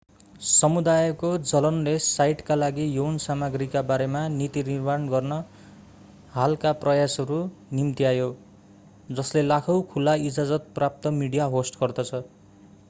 समुदायको जलनले साइटका लागि यौन सामग्रीका बारेमा नीति निर्माण गर्न हालका प्रयासहरू निम्त्यायो जसले लाखौं खुला-इजाजत प्राप्त मिडिया होस्ट गर्दछ